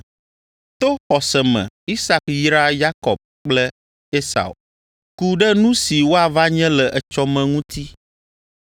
To xɔse me Isak yra Yakob kple Esau, ku ɖe nu si woava nye le etsɔ me ŋuti.